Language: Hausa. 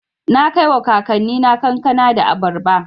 Na kaiwa kakannina kankana da abarba.